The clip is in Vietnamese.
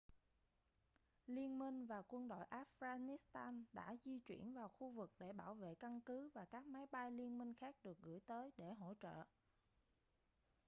liên minh và quân đội afghanistan đã di chuyển vào khu vực để bảo vệ căn cứ và các máy bay liên minh khác được gửi tới để hỗ trợ